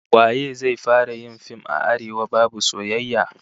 Waye zai fara yin fim a Arewa babu soyayya?